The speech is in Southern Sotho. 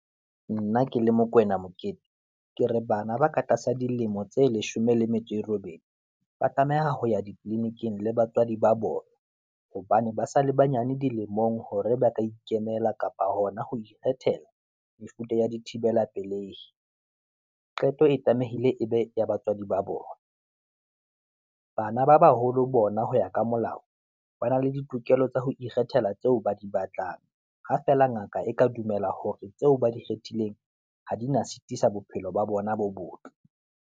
Nna ke le Mokoena Mokete, ke re bana ba ka tlasa dilemo tse leshome le metso e robedi, ba tlameha ho ya ditleliniking le batswadi ba bona, hobane ba sa le banyane dilemong, hore ba ka ikemela kapa hona ho ikgethela mefuta ya di thibela pelehi. Qeto e tlamehile e be ya batswadi ba bona, bana ba baholo bona ho ya ka molao, ba na le ditokelo tsa ho ikgethela tseo ba di batlang, ha feela ngaka e ka dumela hore tseo ba di kgethileng ha di na sitisa bophelo ba bona bo botle.